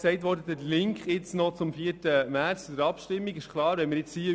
Der Link zur Abstimmung am 4. März wurde bereits gemacht.